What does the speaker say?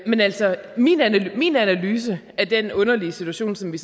men altså min analyse min analyse af den underlige situation som vi